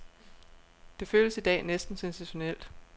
Det føles i dag næsten sensationelt.